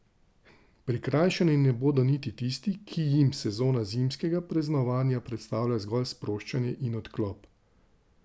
Prikrajšani ne bodo niti tisti, ki jim sezona zimskega praznovanja predstavlja zgolj sproščanje in odklop.